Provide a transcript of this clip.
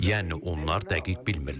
Yəni onlar dəqiq bilmirlər.